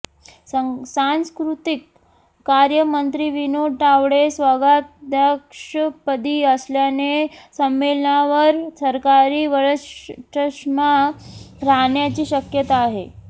सांस्कृतिक कार्य मंत्री विनोद तावडे स्वागताध्यक्षपदी असल्याने संमेलनावर सरकारी वरचष्मा राहण्याची शक्यता आहे